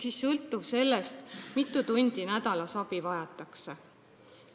See sõltub sellest, kui mitu tundi nädalas abi vajatakse.